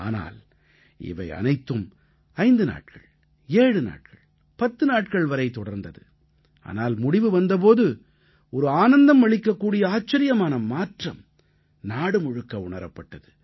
ஆனால் இவை அனைத்தும் ஐந்து நாட்கள் ஏழு நாட்கள் பத்து நாட்கள் வரை தொடர்ந்தது ஆனால் முடிவு வந்த போது ஒரு ஆனந்தம் அளிக்க கூடிய ஆச்சரியமான மாற்றம் நாடுமுழுக்க உணரப்பட்டது